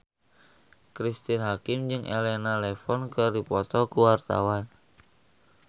Cristine Hakim jeung Elena Levon keur dipoto ku wartawan